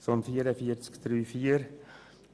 Zu Massnahme 44.3.4: